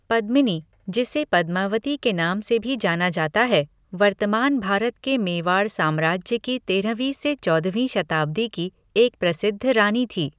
पद्मिनी, जिसे पद्मावती के नाम से भी जाना जाता है, वर्तमान भारत के मेवाड़ साम्राज्य की तेरहवीं से चौदहवीं शताब्दी की एक प्रसिद्ध रानी थी।